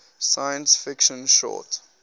science fiction short